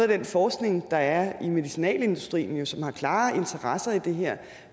den forskning der er i medicinalindustrien som har klare interesser i det her